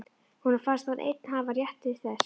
Honum fannst hann einn hafa rétt til þess.